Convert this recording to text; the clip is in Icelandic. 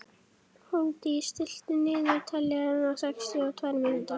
Hólmdís, stilltu niðurteljara á sextíu og tvær mínútur.